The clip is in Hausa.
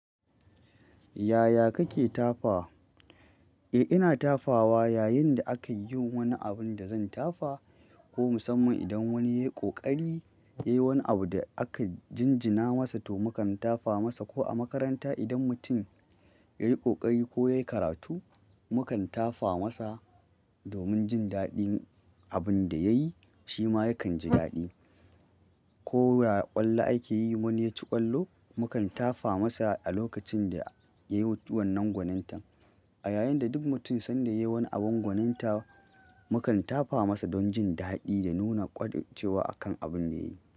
Yaya kake tafa? Eh, ina tafawa yayin da akan yin wani abun da zan tafa. Ko musamman idan wani yayi ƙoƙari, yayi wani abu da aka jinjina masa to mukan tafa masa ko a makaranta idan mutum yayi ƙoƙari ko yayi karatu mukan tafa masa domin jin daɗin abin da yayi shima yakan ji daɗi. Ko a ƙwallo ake yi wani yaci ƙwallo mukan tafa masa a lokacin da yayi wanan gwanintan. A yayin da duk mutum sanda yayi wani abin gwaninta mukan tafa masa don jin daɗi da nuna ƙwaɗicewa akan abin da yayi.